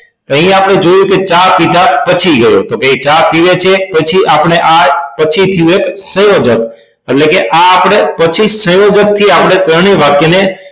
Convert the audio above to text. અહી આપણે જોયું કે ચા પીધાં પછી ગયો કે એ ચા પીવે છે પછી આપણે આ પછી આ સંયોજક એટલે કે આ આપડે પછી સંયોજક થી આપણે ત્રણેય વાક્ય ને